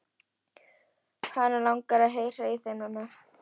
Hana langar að heyra í þeim núna.